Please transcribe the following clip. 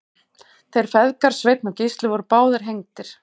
þeir feðgar sveinn og gísli voru báðir hengdir